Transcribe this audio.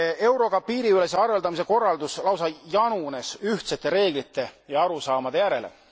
Euroga piiriülese arveldamise korraldus lausa janunes ühtsete reeglite ja arusaamade järele.